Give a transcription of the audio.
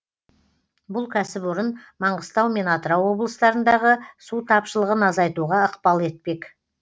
бұл кәсіпорын маңғыстау мен атырау облыстарындағы су тапшылығын азайтуға ықпал етпек